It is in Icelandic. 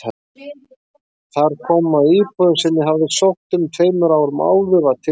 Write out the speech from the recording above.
Þar kom að íbúðin sem ég hafði sótt um tveimur árum áður var tilbúin.